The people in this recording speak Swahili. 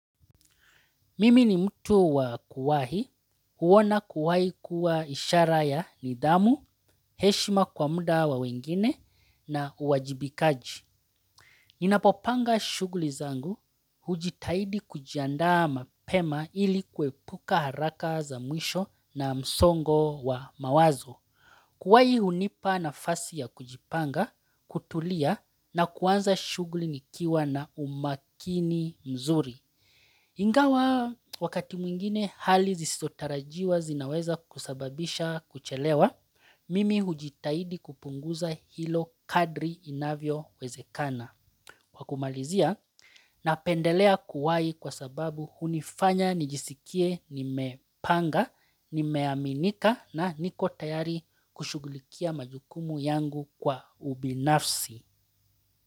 Mimi ni mtu wa kuwahi, kuona kuwahi kuwa ishara ya nidhamu, heshima kwa muda wa wengine na uwajibikaji. Ninapopanga shughuli zangu, hujitahidi kujiandaa mapema ili kuepuka haraka za mwisho na msongo wa mawazo. Kuwahi unipa nafasi ya kujipanga, kutulia na kuanza shughuli nikiwa na umakini mzuri. Ingawa wakati mwingine hali zisizotarajiwa zinaweza kusababisha kuchelewa, mimi hujitaidi kupunguza hilo kadri inavyo wezekana. Kwa kumalizia napendelea kuwahi kwa sababu unifanya nijisikie nimepanga, ni meaminika na niko tayari kushugulikia majukumu yangu kwa ubinafsi.